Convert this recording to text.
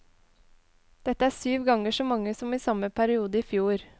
Dette er syv ganger så mange som i samme periode i fjor.